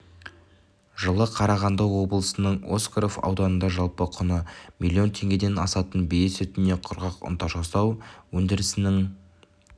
жылы қарағанды облысының осакаров ауданында жалпы құны млн теңгеден асатын бие сүтінен құрғақ ұнтақ жасау өндірісінің